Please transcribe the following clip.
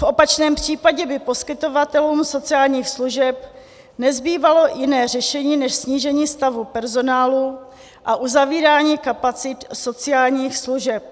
V opačném případě by poskytovatelům sociálních služeb nezbývalo jiné řešení než snížení stavu personálu a uzavírání kapacit sociálních služeb.